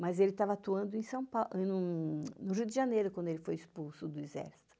Mas ele estava atuando no Rio de Janeiro, quando ele foi expulso do exército.